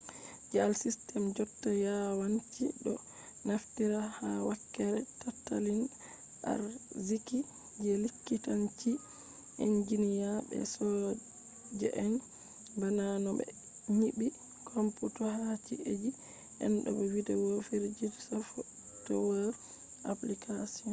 je al system jotta yawanci do naftira ha wakkere tatalin arziki, je likitanci, enjiniya be soja’en ba’na no be nyibi computer ha ci’’eiji den bo video fijirde software applications